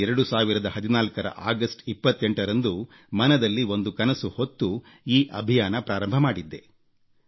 2014ರ August 28ರಂದು ಮನದಲ್ಲಿ ಒಂದು ಕನಸು ಹೊತ್ತು ಈ ಅಭಿಯಾನ ಪ್ರಾರಂಭಿಸಿದ್ದೆ